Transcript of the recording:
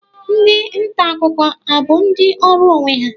Ndị nta akụkọ a bụ ndị ọrụ onwe ha